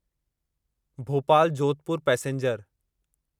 Bhopal Jodhpur passenger